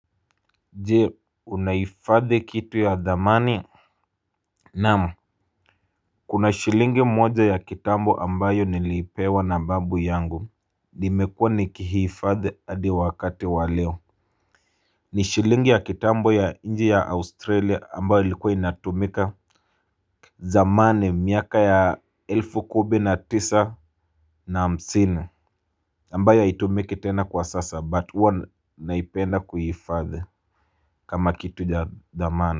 Je unaifadhi kitu ya dhamani? Naam. Kuna shilingi moja ya kitambo ambayo nilipewa na babu yangu. Nimekuwa nikihifadhi hadi wakati wa leo. Ni shilingi ya kitambo ya inchi ya australia ambayo ilikuwa inatumika. Zamani miaka ya elfu kumi na tisa na hamsini ambayo haitumiki tena kwa sasa but huwa naipenda kuihifadhi kama kitu ya dhamani.